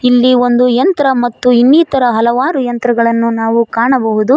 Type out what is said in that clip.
ಇಲ್ಲಿ ಒಂದು ಯಂತ್ರ ಮತ್ತು ಇನ್ನಿತರ ಹಲವಾರು ಯಂತ್ರಗಳನ್ನು ನಾವು ಕಾಣಬಹುದು.